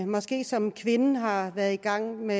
måske som kvinde har været i gang med